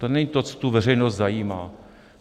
To není to, co tu veřejnost zajímá.